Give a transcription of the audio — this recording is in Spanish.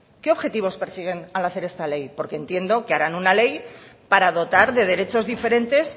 qué objetivos persiguen al hacer este ley porque entiendo que harán una ley para dotar de derechos diferentes